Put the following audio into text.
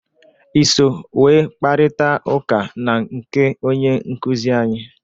I so wee kparịta ụka na nke onye nkụzị anyị?